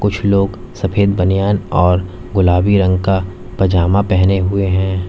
कुछ लोग सफेद बनियान और गुलाबी रंग का पजामा पहने हुए हैं।